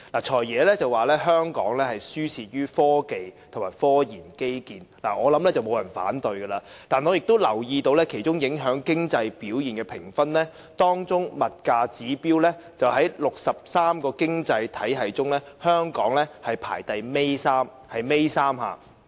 "財爺"表示香港輸在科技和科研基建，我相信沒有人會反對，但我也留意到，當中影響經濟表現的評分，物價指標在63個經濟體系中，香港排名尾三。